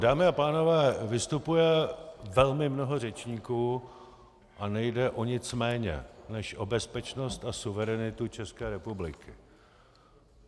Dámy a pánové, vystupuje velmi mnoho řečníků a nejde o nic méně než o bezpečnost a suverenitu České republiky.